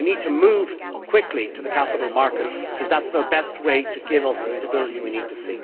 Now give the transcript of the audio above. We need to move quickly to the capital markets because that is the best way to give us the stability we need to